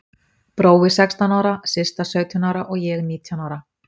Brói sextán ára, Systa sautján ára og ég nítján ára.